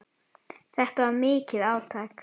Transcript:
Þetta var mikið átak.